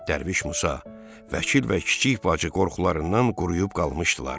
Dərviş Musa, Vəkil və Kiçik bacı qorxularından quruyub qalmışdılar.